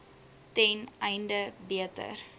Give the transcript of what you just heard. ten einde beter